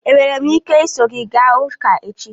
Enwere m ike iso gị gaa ụka echi?